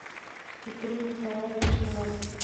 петре николаевиче власове